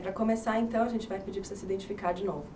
Para começar então, a gente vai pedir para você se identificar de novo.